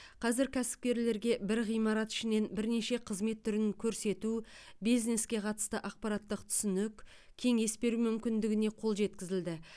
қазір кәсіпкерлерге бір ғимарат ішінен бірнеше қызмет түрін көрсету бизнеске қатысты ақпараттық түсінік кеңес беру мүмкіндігіне қол жеткізілді